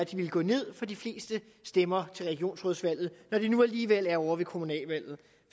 ville gå ned for de fleste stemmer til regionsrådsvalget når de nu alligevel er ovre ved kommunalvalget